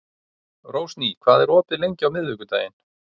Rósný, hvað er opið lengi á miðvikudaginn?